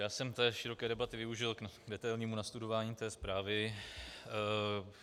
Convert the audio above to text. Já jsem té široké debaty využil k detailnímu nastudování té zprávy.